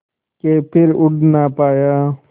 के फिर उड़ ना पाया